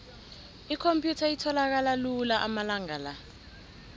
ikhomphyutha itholakala lula amalanga la